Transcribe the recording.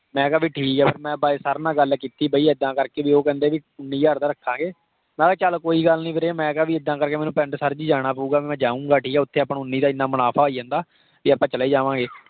ਮੈਂ ਕਿਹਾ ਬਈ ਠੀਕ ਆ। ਫਿਰ ਮੈਂ sir ਨਾਲ ਗੱਲ ਕੀਤੀ ਬਈ ਇੱਦਾਂ ਕਰ ਕੇ ਭੀ ਉਹ ਕਹਿੰਦੇ ਬਈ ਉੰਨੀ ਹਜ਼ਾਰ ਦਾ ਰੱਖਾਂਗੇ। ਮੈਂ ਕਿਹਾ ਚਲ ਕੋਈ ਗੱਲ ਨਹੀਂ ਵੀਰੇ ਮੈਂ ਕਿਹਾ ਭੀ ਇੱਦਾਂ ਕਰ ਕੇ ਮੈਨੂੰ ਪਿੰਡ sir ਜੀ ਮੈਨੂੰ ਜਾਣਾ ਪਊਗਾ। ਮੈਂ ਜਾਊਂਗਾ ਠੀਕ ਹੈ। ਉੱਥੇ ਆਪਾਂ ਨੂੰ ਉੰਨੀ ਦਾ ਇੰਨਾ ਮੁਨਾਫ਼ਾ ਹੋਈ ਜਾਂਦਾ ਤੇ ਭੀ ਆਪਾਂ ਚਲੇ ਹੀ ਜਾਵਾਂਗੇ।